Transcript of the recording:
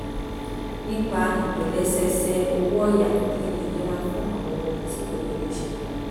nípa ìtòlẹ́sẹẹsẹ owó ọ̀yà kí n lè yẹra fún àwọn ohun tí kò yẹ kó ṣẹlẹ̀